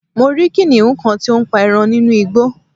mo rí kìnìhún kan tí ó ń pa eran nínú Igbo